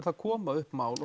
það koma upp mál